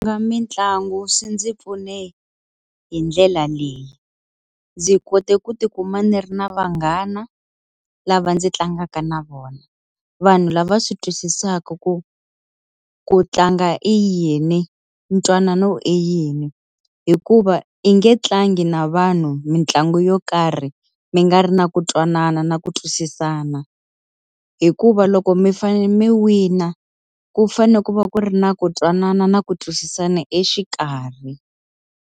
mitlangu swi ndzi pfune hi ndlela leyi. Ndzi kote ku ti kuma ni ri na vanghana lava ndzi tlangaka na vona. Vanhu lava swi twisisaka ku ku tlanga i yini, ntwanano i yini. Hikuva i nge tlangi na vanhu mitlangu yo karhi, mi nga ri na ku twanana na ku twisisana. Hikuva loko mi fanele mi wina, ku fanele ku va ku ku ri na ku twanana na ku twisisana exikarhi.